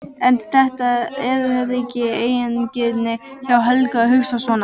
En er þetta ekki eigingirni hjá Helga að hugsa svona?